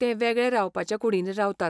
ते वेगळे रावपाच्या कुडींनी रावतात.